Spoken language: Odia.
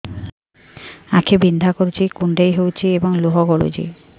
ଆଖି ବିନ୍ଧା କରୁଛି କୁଣ୍ଡେଇ ହେଉଛି ଏବଂ ଲୁହ ଗଳୁଛି